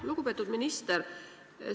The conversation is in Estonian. Lugupeetud minister!